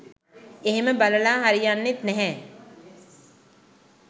එහෙම බලලා හරියන්නෙත් නැහැ.